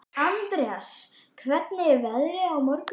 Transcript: Andreas, hvernig er veðrið á morgun?